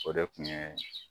O de kun ye